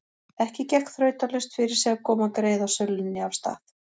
Ekki gekk þrautalaust fyrir sig að koma greiðasölunni af stað.